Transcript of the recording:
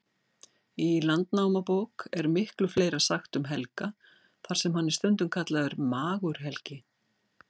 Í Landnámabók er miklu fleira sagt frá Helga, þar sem hann er stundum kallaður Magur-Helgi.